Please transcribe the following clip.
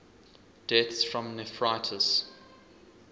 deaths from nephritis